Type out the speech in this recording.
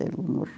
Dele